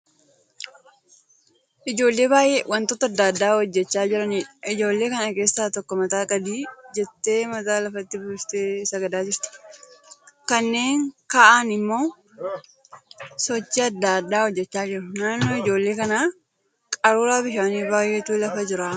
Ijoollee baay'ee wantoota adda addaa hojjechaa jiraniidha. Ijoollee kana keessaa tokko mataan gadi jettee mataa lafatti buustee sagadaa jirti. Kanneen kaa'aan immoo sochii adda addaa hojjechaa jiru. Naannoo ijoollee kanaa qaruuraa bishaanii baay'eetu lafa jira.